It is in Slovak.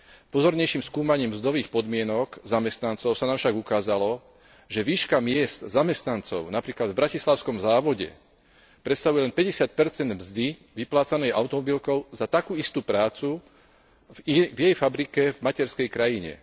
Pozornejším skúmaním mzdových podmienok zamestnancov sa nám však ukázalo, že výška miezd zamestnancov napríklad v bratislavskom závode predstavuje len 50 mzdy vyplácanej automobilkou za takú istú prácu v jej fabrike v materskej krajine.